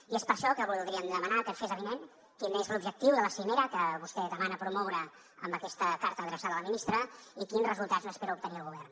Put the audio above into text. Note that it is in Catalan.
i és per això que voldríem demanar que fes avinent quin és l’objectiu de la cimera que vostè demana promoure amb aquesta carta adreçada a la ministra i quins resultats n’espera obtenir el govern